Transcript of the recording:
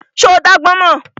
Ṣo dá agbọ́n mọ́?